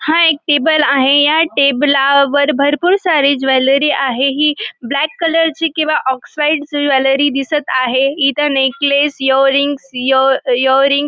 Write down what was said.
हा एक टेबल आहे या टेबला वर भरपूर सारी ज्वेलरी आहे हि ब्लॅक कलर ची किंवा ऑक्साइड ची ज्वेलरी दिसत आहे इथ नेकलेस इयररिंग इअर इयररिंग --